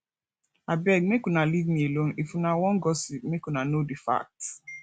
abeg make una leave me alone if una wan gossip make una know the facts